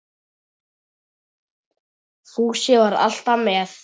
Fúsi var alltaf með